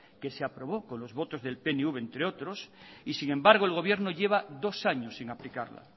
que se aprobó con los votos del pnv entre otros y sin embargo el gobierno lleva dos años sin aplicarla